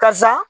Karisa